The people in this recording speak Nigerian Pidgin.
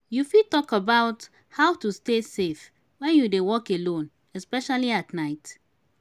you fit talk about how to stay safe when you dey walk alone especially at night.